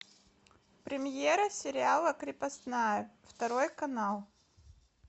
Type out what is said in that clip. премьера сериала крепостная второй канал